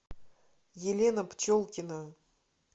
елена пчелкина